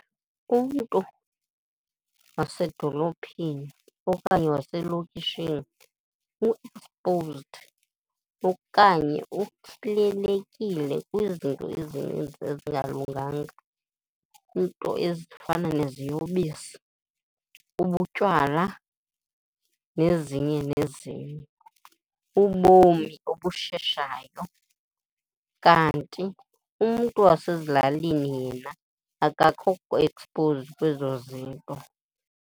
Umntu wasedolophini okanye waselokishini u-exposed okanye kwizinto ezininzi ezingalunganga, iinto ezifana neziyobisi, ubutywala nezinye nezinye, ubomi obusheshayayo. Kanti umntu wasezilalini yena akakho exposed kwezo zinto.